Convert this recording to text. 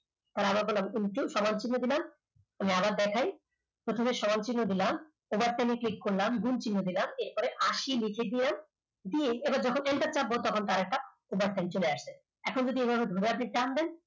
এবার আমরা করলাম into সমান চিহ্ন দিলাম আমি আবার দেখাই প্রথমে সমান চিহ্ন দিলাম overtime এ click করলাম গুণ চিহ্ন দিলাম এরপর আশি লিখে দিলাম এবার দেখো enter চাপবো তারপর একটা overtime চলে আসবে এবার যদি এভাবে ধরে আপনি টান দেন